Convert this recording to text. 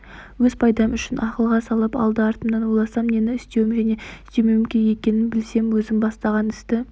өз пайдам үшін ақылға салып алды-артымды ойласам нені істеуім және істемеуім керек екенін білсем өзім бастаған істі